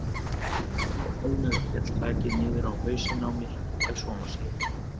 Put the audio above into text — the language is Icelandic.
Þegar hann var hálfnaður féll þakið niður á hausinn á mér ef svo má segja.